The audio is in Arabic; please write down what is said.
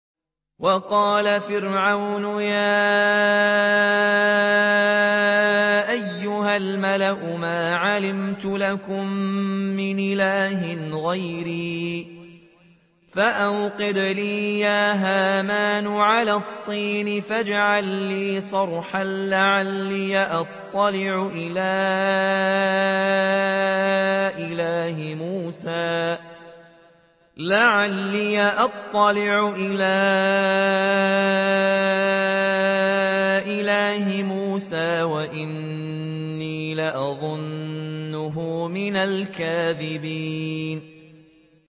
وَقَالَ فِرْعَوْنُ يَا أَيُّهَا الْمَلَأُ مَا عَلِمْتُ لَكُم مِّنْ إِلَٰهٍ غَيْرِي فَأَوْقِدْ لِي يَا هَامَانُ عَلَى الطِّينِ فَاجْعَل لِّي صَرْحًا لَّعَلِّي أَطَّلِعُ إِلَىٰ إِلَٰهِ مُوسَىٰ وَإِنِّي لَأَظُنُّهُ مِنَ الْكَاذِبِينَ